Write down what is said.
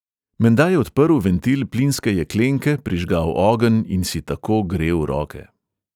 Menda je odprl ventil plinske jeklenke, prižgal ogenj in si tako grel roke.